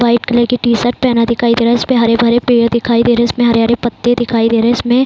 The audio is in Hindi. व्हाइट कलर की टी-शर्ट पहना दिखाई दे रहा है। इसपे हरे भरे पेड़ दिखाई दे रहे हैं। इसमें हरे-हरे पत्ते दिखाई दे रहे। इसमें --